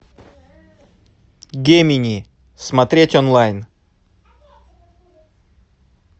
гемини смотреть онлайн